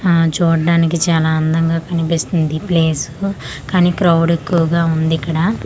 ఆ చూడానికి చాలా అందంగా కనిపిస్తుంది ఈ ప్లేసు కానీ క్రౌడ్ ఎక్కువగా ఉంది ఇక్కడ.